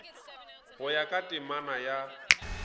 go ya ka temana ya